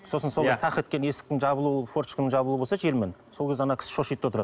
сосын сондай тақ еткен есіктің жабылуы форточканың жабылуы болса желмен сол кезде ана кісі шошиды да отырады